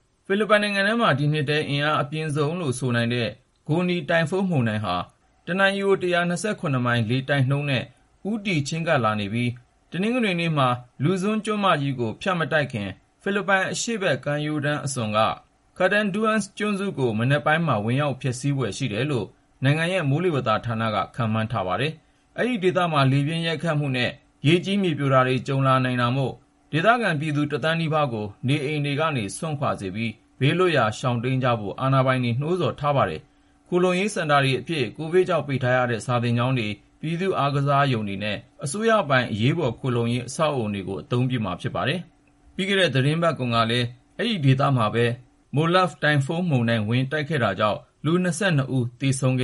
ဖိလစ်ပိုင်နိုင်ငံမှာ ဒီနှစ်ထဲ အင်အားအပြင်းဆုံးလို့ ဆိုနိုင်တဲ့ Goni တိုင်ဖုန်းမုန်တိုင်းဟာ တနာရီကို ၁၂၇ မိုင် လေတိုက်နှုန်းနဲ့ ဦးတည် ချဉ်းကပ်လာနေပြီး တနင်္ဂနွေနေ့မှာ Luzon ကျွန်းမကြီးကို ဖြတ်မတိုက်ခင် ဖိလစ်ပိုင် အရှေ့ဘက်ကမ်းရိုးတန်း အစွန်က Catanduanes ကျွန်းကို မနက်ပိုင်းမှာ ဝင်ရောက်ဖျက်ဆီးဖွယ် ရှိတယ်လို့ နိုင်ငံရဲ့ မိုးလေဝသဌာနက ခန့်မှန်းထားပါတယ်။ အဲဒီဒေသမှာ လေပြင်းရိုက်ခတ်မှုနဲ့ ရေကြီး မြေပြိုတာတွေ ကြုံလာနိုင်တာမို့ ဒေသခံ ဖိလစ်ပိုင်ပြည်သူ ၁ သန်းနီးပါးကို နေအိမ်တွေကနေ စွန့်ခွာစေပြီး ဘေးလွတ်ရာ ရှောင်တိမ်းကြဖို့ အာဏာပိုင်တွေ နှိုးဆော်ထားပါတယ်။ ခိုလှုံရေးစင်တာတွေအဖြစ် ကိုဗစ်ကြောင့် ပိတ်ထားရတဲ့ စာသင်ကျောင်းတွေ၊ ပြည်သူ့အားကစားရုံတွေနဲ့ အစိုးရပိုင် အရေးပေါ်ခိုလှုံရေး အဆောက်အဦတွေကို အသုံးပြုမှာ ဖြစ်ပါတယ်။ ပြီးခဲ့တဲ့ သီတင်းပတ်တုန်းကလည်း ဒီဒေသမှာပဲ Molave တိုင်ဖုန်းမုန်တိုင်း ဝင်တိုက်ခဲ့တာကြောင့် လူ ၂၂ ဦး သေဆုံးခ